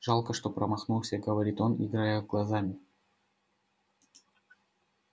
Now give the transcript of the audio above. жалко что промахнулся говорит он играя глазами